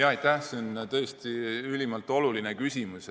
Aitäh, see on tõesti ülimalt oluline küsimus.